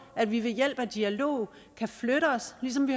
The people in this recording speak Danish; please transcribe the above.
at vi ved hjælp af dialog kan flytte os ligesom vi